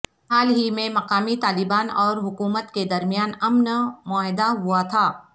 حال ہی میں مقامی طالبان اور حکومت کے درمیان امن معاہدہ ہوا تھا